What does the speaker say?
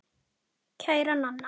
Kæra Nanna.